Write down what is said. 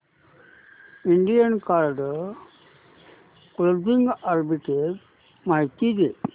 Indian card clothing arbitrage माहिती दे